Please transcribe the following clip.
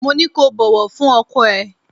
Mo ní kó bọ̀wọ̀ fún ọkọ ẹ.